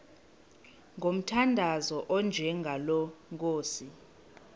ngomthandazo onjengalo nkosi